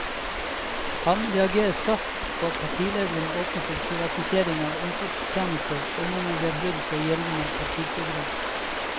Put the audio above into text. Han reagerer skarpt på at partilederen åpner for privatisering av omsorgstjenester og mener det er brudd på gjeldende partiprogram.